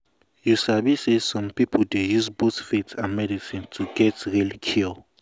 you sabi say some people dey use both faith and medicine to get real cure.